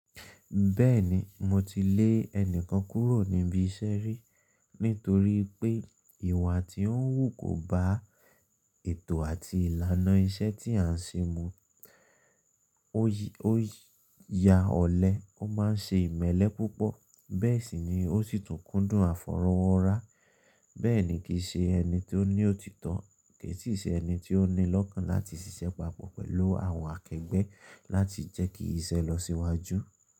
Bẹ́ẹ̀ni mo ti lè ẹnìkan kúrò níbi iṣẹ́ rí nítorí pé ìwà tí ó ń wù kò bá ètò àti ìlànà iṣẹ́ tí à ń ṣe mu. Ó ya ọ̀lẹ, ó má ń ṣe ìmẹ́lẹ́ púpọ̀, bẹ́ẹ̀ sì ni ó sì tún kúndùn àfọ̀rọ́wọ́ra. Bẹ́ẹ̀ ni kì í ṣe ẹni tí ó ní òtítọ́, kì í sì ṣe ẹni tí ó ní lọ́kàn láti ṣiṣẹ́ papọ̀ pẹ̀lú àwọn akẹgbẹ́ láti jẹ́ kí iṣẹ́ lọ síwájú.